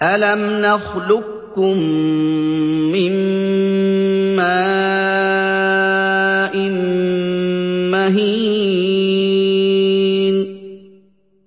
أَلَمْ نَخْلُقكُّم مِّن مَّاءٍ مَّهِينٍ